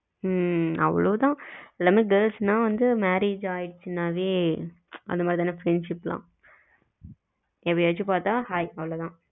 ஹம் அவ்வளவு தான் எல்லாமே girls ன்ன வந்து marriage ஆயிருச்சுனாவே அந்தமாதிரி தான் friendship எல்லாம் எப்பயாச்சு பாத்தா hi அவ்வளவு தான்